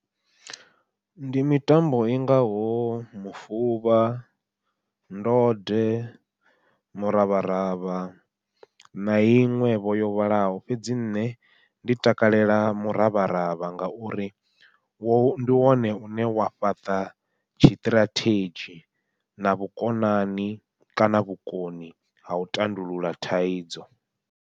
Ndi mitambo i ngaho mufuvha, ndode muravharavha, na iṅwe vho yo vhalaho fhedzi nṋe ndi takalela muravharavha ngauri ndi wone une wa fhaṱa tshiṱirathedzhi na vhukonani kana vhukoni ha u tandulula thaidzo.